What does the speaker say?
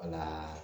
Wala